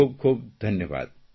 ખૂબ ખૂબ ધન્યવાદ